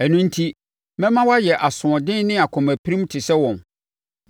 Ɛno enti, mɛma woayɛ asoɔden ne akomapirim te sɛ wɔn.